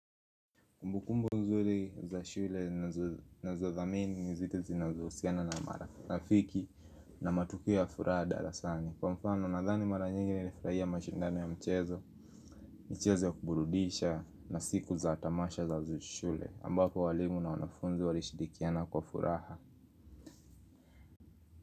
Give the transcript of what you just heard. Kumbukumbu nzuri za shule nazothamini ni zile zinazohusiana na marafiki na matukio ya furaha darasani. Kwa mfano nathani mara nyingi nilifurahia mashindano ya mchezo, michezo ya kuburudisha na siku za tamasha za shule, ambapo walimu na wanafunzi walishirikiana kwa furaha.